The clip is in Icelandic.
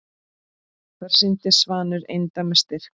Þar sýndi Svanur eindæma styrk.